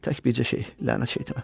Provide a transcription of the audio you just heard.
Tək bircə şeyi, lənət şeytana.